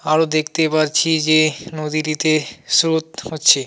আরও দেখতে পারছি যে নদীটিতে স্রোত হচ্ছে।